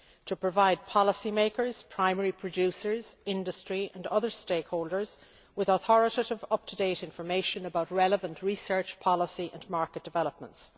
to provide policy makers, primary producers, industry and other stakeholders with authoritative, up to date information about relevant research, policy, and market developments.